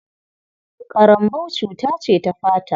Ƙarambau cuta ce ta fata.